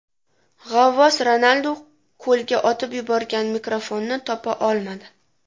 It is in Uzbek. G‘avvos Ronaldu ko‘lga otib yuborgan mikrofonni topa olmadi.